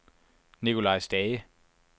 Nicolai Stage